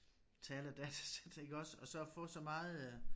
Taledatasæt iggås og så få så meget øh